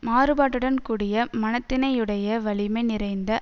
மாறுபாட்டுடன் கூடிய மனத்தினையுடைய வலிமை நிறைந்த